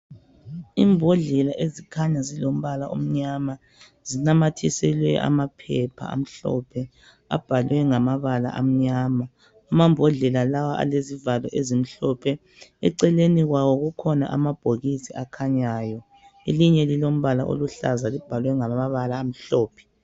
Imbodlela ezikhanya zilombala omnyama, zinamathiselwe amaphepha amhlophe . Abhalwe ngamabala amnyama. Amambodlela lawa alezivalo ezimhlophe. Eceleni kwawo kukhona amabhokisi akhanyayo. Elinye lilombala oluhlaza. Libhalwe ngamabala amhlophe.